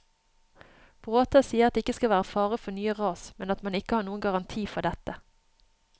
Bråta sier at det ikke skal være fare for nye ras, men at man ikke har noen garanti for dette.